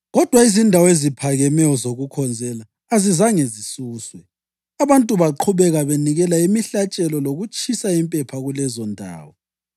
Kodwa izindawo eziphakemeyo zokukhonzela azizange zisuswe; abantu baqhubeka benikela imihlatshelo lokutshisa impepha kulezondawo.